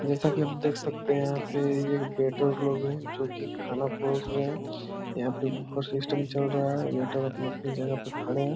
जैसा की आप देख सकते है यहाँ पे ये एक वेटर लोग है जो की खाना परोस रहे है यहाँ पे बुफे सिस्टम चल रहा है वेटर अपनी-अपनी जगह पे खड़े है ।